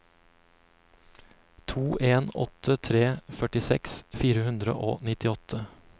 to en åtte tre førtiseks fire hundre og nittiåtte